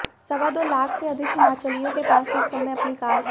सवा दो लाख से अधिक हिमाचलियों के पास इस समय अपनी कार है